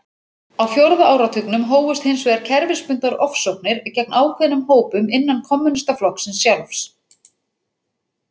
Á fjórða áratugnum hófust hins vegar kerfisbundnar ofsóknir gegn ákveðnum hópum innan kommúnistaflokksins sjálfs.